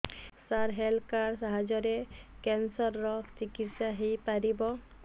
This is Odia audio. ସାର ହେଲ୍ଥ କାର୍ଡ ସାହାଯ୍ୟରେ କ୍ୟାନ୍ସର ର ଚିକିତ୍ସା ହେଇପାରିବ